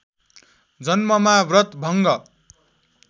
जन्ममा व्रत भङ्ग